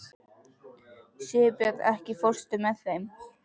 Sigurbjörn, ekki fórstu með þeim?